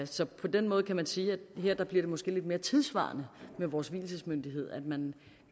så på den måde kan man sige at her bliver det måske lidt mere tidssvarende med vores vielsesmyndighed at man